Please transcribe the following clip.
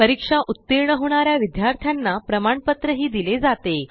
परीक्षा उतीर्ण होणा या विद्यार्थ्यांना प्रमाणपत्रही दिले जाते